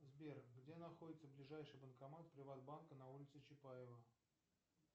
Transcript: сбер где находится ближайший банкомат приват банка на улице чапаева